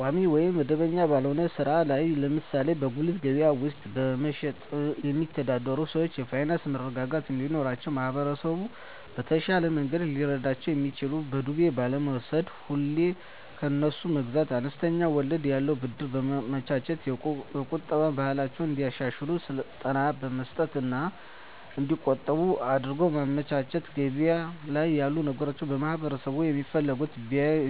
ቋሚ ወይም መደበኛ ባልሆነ ሥራ ላይ ለምሳሌ በጉሊት ገበያ ውስጥ በመሸጥየሚተዳደሩ ሰዎች የፋይናንስ መረጋጋት እንዲኖራቸው ማህበረሰቡ በተሻለ መንገድ ሊረዳቸው የሚችለው በዱቤ ባለመውስድ፤ ሁሌ ከነሱ መግዛት፤ አነስተኛ ወለድ ያለው ብድር በማመቻቸት፤ የቁጠባ ባህላቸውን እንዲያሻሽሉ ስልጠና መስጠት እና እዲቆጥቡ እድሉን ማመቻቸት፤ ገበያ ላይ ያሉ ነገሮችን ማህበረሠቡ የሚፈልገውን